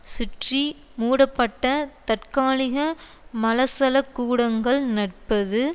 சுற்றி மூடப்பட்ட தற்காலிக மலசலகூடங்கள் நற்பது